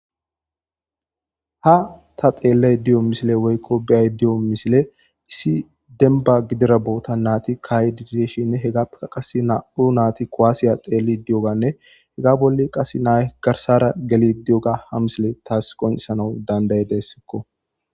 ha ta xeelley diyo misile woykko beyay di7o misile issi denba gidira boota naati kay diddishinne hegaea qase naa7u naati koaasiya xeelli di7oganne hega bolle qasse nay garsara geli di7oga ha misile taas qoncesana dandaye dessikko